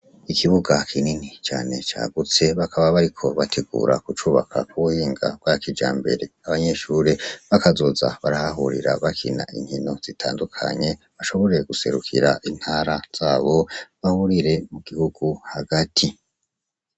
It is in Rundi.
Ikibuga kinini cane cagutse bakaba bari ko bategura gucubaka kubuhinga bwa kija mbere abanyeshure bakazoza barahahurira bakina inkino zitandukanye bashoboreye guserukira intara zabo bahurire mu gihugu hagati.